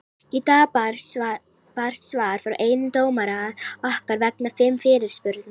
Í dag barst svar frá einum dómara okkar vegna fimm fyrirspurna.